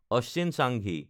Ashwin Changi